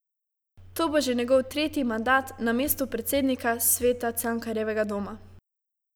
To bo že njegov tretji mandat na mestu predsednika sveta Cankarjevega doma.